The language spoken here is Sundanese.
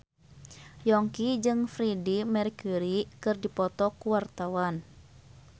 Yongki jeung Freedie Mercury keur dipoto ku wartawan